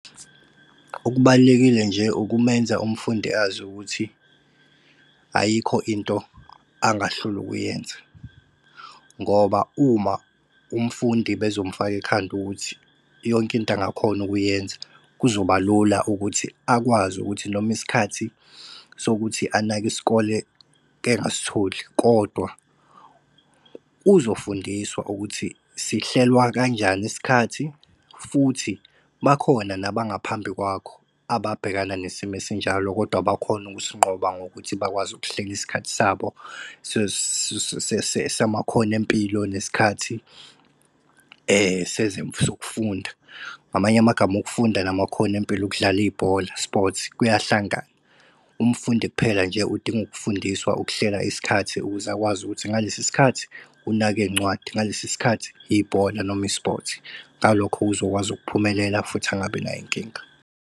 Okubalulekile nje ukumenza umfundi azi ukuthi ayikho into angahlulwa ukuyenza. Ngoba uma umfundi bezomfaka ekhanda ukuthi yonke into angakhona ukuyenza, kuzoba lula ukuthi akwazi ukuthi noma isikhathi sokuthi anake isikole engasitholi, kodwa uzofundiswa ukuthi sihlelwa kanjani isikhathi. Futhi bakhona nabangaphambi kwakho ababhekana nesimo esinjalo, kodwa bakhona ukusinqoba ngokuthi bakwazi ukuhlela isikhathi sabo samakhono empilo nesikhathi sokufunda. Ngamanye amagama ukufunda namakhono empilo, ukudlala ibhola, sports, kuyahlangana. Umfundi kuphela nje udinga ukufundiswa ukuhlela isikhathi ukuze akwazi, ukuthi ngalesi sikhathi unake iy'ncwadi, ngalesi sikhathi ibhola noma i-sport. Ngalokhu uzokwazi ukuphumelela, futhi angabi nayo inkinga.